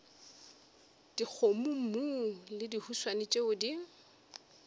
dikgomommuu le dihuswane tšeo di